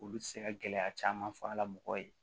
Olu tɛ se ka gɛlɛya caman fɔ a la mɔgɔ ye